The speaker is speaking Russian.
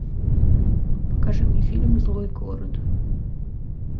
покажи мне фильм злой город